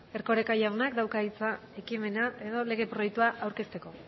erkoreka jaunak dauka hitza ekimena edo lege proiektua aurkezteko